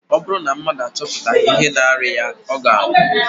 Ọ bụrụ na mmadụ achọpụtaghị ihe na-arịa ya, ọ ga-anwụ